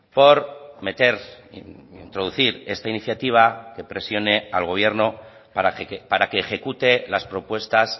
por meter introducir esta iniciativa que presione al gobierno para que ejecute las propuestas